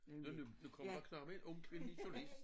Nå nu nu kommer der en ung kvindelig journalist